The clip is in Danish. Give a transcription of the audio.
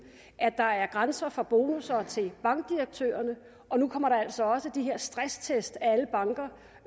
at der er grænser for bonusser til bankdirektørerne nu kommer der altså også de her stresstest af alle banker